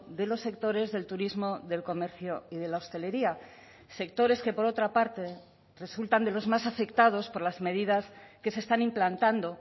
de los sectores del turismo del comercio y de la hostelería sectores que por otra parte resultan de los más afectados por las medidas que se están implantando